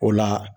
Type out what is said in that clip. O la